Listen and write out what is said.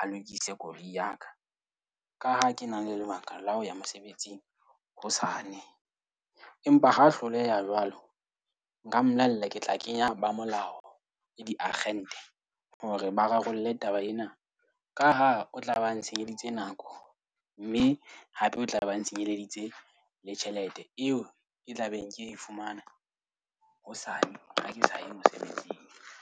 a lokise koloi ya ka. Ka ha ke na le lebaka la ho ya mosebetsing hosane, empa ha hloleha jwalo. Nka mmolela ke tla kenya ba molao ya diakgente hore ba rarolle taba ena ka ha o tlaba ntshenyeditse nako mme hape o tla be ba nsenyeleditse le tjhelete eo ke tla beng ke e fumana hosane ha ke sa ya mosebetsing.